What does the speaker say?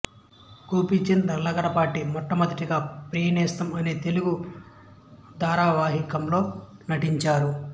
గోపీచంద్ లగడపాటి మొట్టమొదటిగా ప్రియనేస్తం అనే తెలుగు ధారావాహికంలో నటిచారు